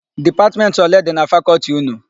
Dipatmentị ole dị na Fakọltị ụnụ?